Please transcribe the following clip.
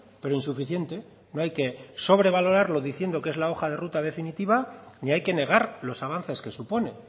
pero insuficiente no hay que sobrevalorarlo diciendo que es la hoja de ruta definitiva ni hay que negar los avances que supone